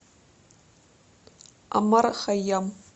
омар хайям